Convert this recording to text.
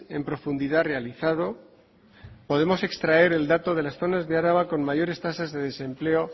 en profundidad realizado podemos extraer el dato de las zonas de araba con mayores tasas de desempleo